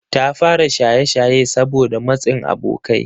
Ta fara shaye-shaye saboda matsin abokai.